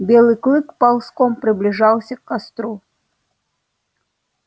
белый клык ползком приближался к костру